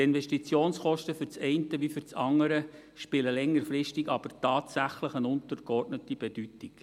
Die Investitionskosten für das eine wie für das andere sind längerfristig aber tatsächlich von untergeordneter Bedeutung.